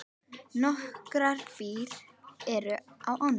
Nokkrar brýr eru á ánni.